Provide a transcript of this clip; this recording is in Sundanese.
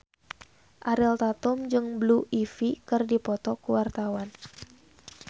Ariel Tatum jeung Blue Ivy keur dipoto ku wartawan